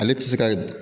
Ale tɛ se ka